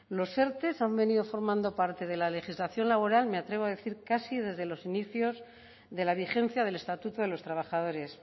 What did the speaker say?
los erte han venido formando parte de la legislación laboral me atrevo a decir casi desde los inicios de la vigencia del estatuto de los trabajadores